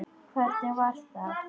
Hvernig var það?